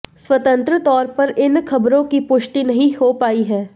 स्वतंत्र तौर पर इन खबरों की पुष्टि नहीं हो पाई है